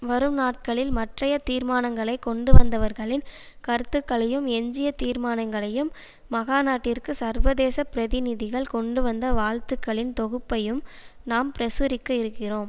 வரும் நாட்களில் மற்றைய தீர்மானங்களைக் கொண்டுவந்தவர்களின் கருத்துக்களையும் எஞ்சிய தீர்மானங்களையும் மகாநாட்டிற்கு சர்வதேச பிரதிநிதிகள் கொண்டுவந்த வாழ்த்துக்களின் தொகுப்பையும் நாம் பிரசுரிக்க இருக்கிறோம்